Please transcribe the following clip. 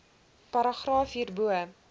paragraaf hierbo